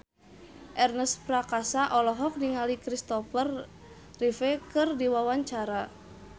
Ernest Prakasa olohok ningali Kristopher Reeve keur diwawancara